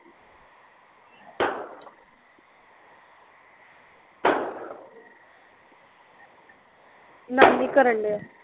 ਨਮਨੀ ਕਰਨ ਡੀਆ